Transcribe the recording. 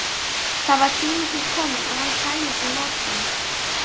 Það var tími til kominn að hann kæmist í notkun!